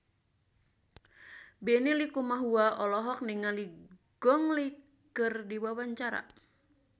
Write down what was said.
Benny Likumahua olohok ningali Gong Li keur diwawancara